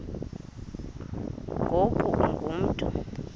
ngoku ungu mntu